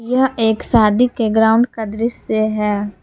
यह एक शादी के ग्राउंड का दृश्य है।